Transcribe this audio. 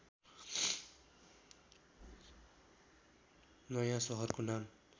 नयाँ सहरको नाम